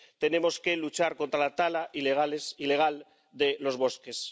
Tenemos que luchar contra la tala ilegal de los bosques.